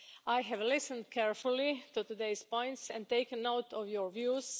I have listened carefully to today's points and taken note of your views.